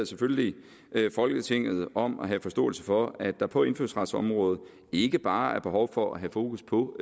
selvfølgelig folketinget om at have forståelse for at der på indfødsretsområdet ikke bare er behov for at have fokus på